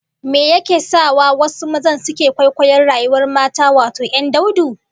Me yake sa wasu mazan suke kwaikwayon rayuwar mata, wato 'yan daudu?